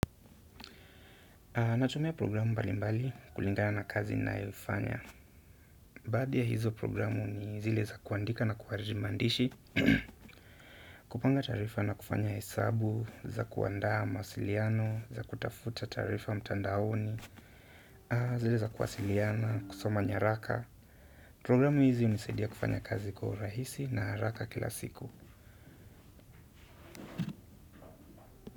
Natumia programu mbali mbali kulingana na kazi ninayoifanya. Baadhi ya hizo programu ni zile za kuandika na kuhariri maandishi, kupanga taarifa na kufanya hesabu, za kuandaa mawasiliano, za kutafuta taarifa mtandaoni, zile za kuwasiliana, kusoma nyaraka. Programu hizi hunisaidia kufanya kazi kwa urahisi na haraka kila siku.